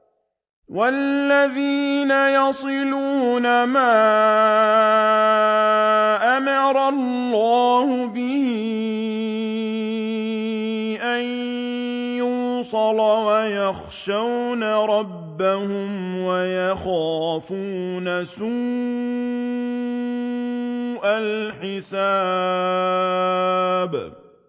وَالَّذِينَ يَصِلُونَ مَا أَمَرَ اللَّهُ بِهِ أَن يُوصَلَ وَيَخْشَوْنَ رَبَّهُمْ وَيَخَافُونَ سُوءَ الْحِسَابِ